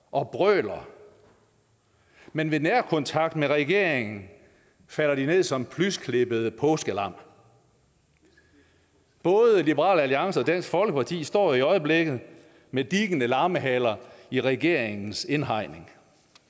og brøler men ved nærkontakt med regeringen falder de ned som plysklippede påskelam både liberal alliance og dansk folkeparti står i øjeblikket med dikkende lammehaler i regeringens indhegning